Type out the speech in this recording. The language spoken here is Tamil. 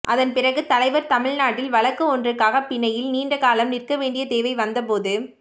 அதன் பிறகு தலைவர் தமிழ்நாட்டில் வழக்கு ஒன்றுக்காகப பிணையில் நீண்டகாலம் நிற்கவேண்டிய தேவை வந்தபோது